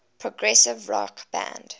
progressive rock band